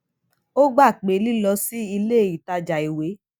ó gbà pé lílọ sí ilé ìtajà ìwé